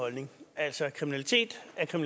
altså